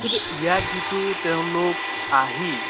কিন্তু ইয়াত যিটো তেওঁলোক আহি